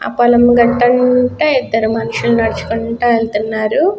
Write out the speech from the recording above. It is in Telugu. ఆ పొలం గట్టంట ఇదరు మనుషుల్లు నడుచుకుంటూ వెళ్తున్నారు.